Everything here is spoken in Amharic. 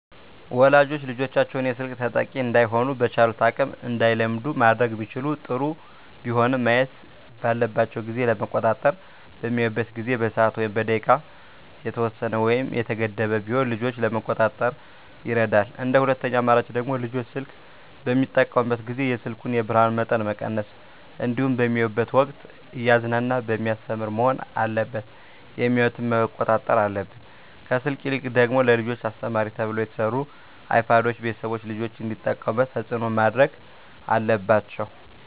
ወላጆች ልጆቻቸውን የስልክ ተጠቂ እዳይሆኑ በቻሉት አቅም እንዳይለምዱ ማድረግ ቢችሉ ጥሩ ቢሆንም ማየት ባለባቸው ጊዜ ለመቆጣጠር በሚያዩበት ጊዜ በሰዓት ወይም በደቂቃ የተወሰነ ወይም የተገደበ ቢሆን ልጆችን ለመቆጣጠር ይረዳል እንደ ሁለተኛ አማራጭ ደግሞ ልጆች ስልክ በሚጠቀሙበት ጊዜ የስልኩን የብርሀኑን መጠን መቀነስ እንዲሁም በሚያዩበት ወቅትም እያዝናና በሚያስተምር መሆን አለበት የሚያዮትን መቆጣጠር አለብን። ከስልክ ይልቅ ደግሞ ለልጆች አስተማሪ ተብለው የተሰሩ አይፓዶችን ቤተሰቦች ልጆች እንዲጠቀሙት ተፅዕኖ ማድረግ አለባቸው።